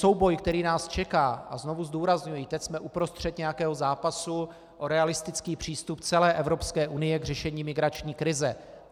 Souboj, který nás čeká - a znovu zdůrazňuji, teď jsme uprostřed nějakého zápasu o realistický přístup celé Evropské unie k řešení migrační krize.